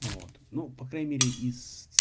вот ну по крайней мере из